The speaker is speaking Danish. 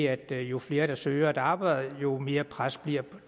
at jo flere der søger et arbejde jo mere pres bliver